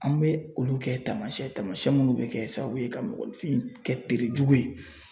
An bɛ olu kɛ taamasiyɛn taamasiyɛn minnu bɛ kɛ sababu ye ka mɔgɔnifin kɛ terijugu ye .